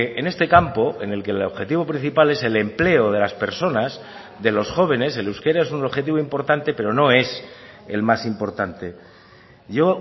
en este campo en el que el objetivo principal es el empleo de las personas de los jóvenes el euskera es un objetivo importante pero no es el más importante yo